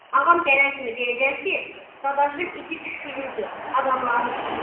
Ağam gələn kimi deyəcəm ki, Dadaşım iti quşqürürdü adamların üstünə.